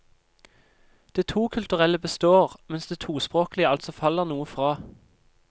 Det tokulturelle består, mens det tospråklige altså faller noe fra.